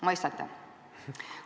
Mõistate?